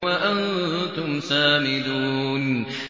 وَأَنتُمْ سَامِدُونَ